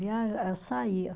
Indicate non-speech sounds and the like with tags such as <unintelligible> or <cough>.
<unintelligible> Eu saía.